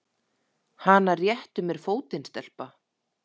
Hana réttu mér fótinn, stelpa!